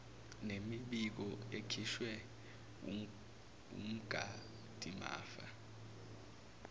nemibiko ekhishwe wumgadimafa